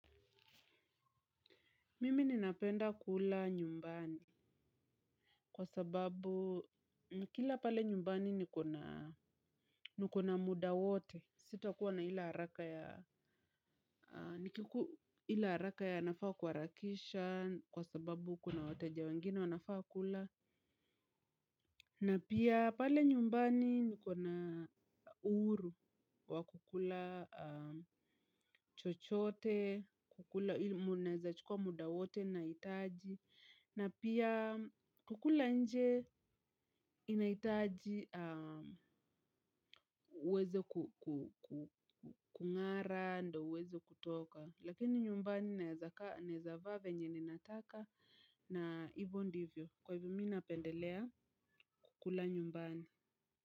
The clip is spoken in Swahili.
Mimi ninapenda kula nyumbani kwa sababu nikila pale nyumbani nikona muda wote. Sitakuwa na ile haraka ya nafaa kuharakisha kwa sababu kuna wateja wengine wanafaa kula. Na pia pale nyumbani nikona uhuru wa kukula chochote, kukula mnaweza chukua muda wote mnahitaji. Na pia kukula nje inahitaji uweze kung'ara, ndio uweze kutoka. Lakini nyumbani naweza vaa venye ninataka na hivyo ndivyo kwa hivyo mimi napendelea kukula nyumbani.